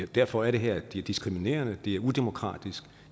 derfor er det her diskriminerende det er udemokratisk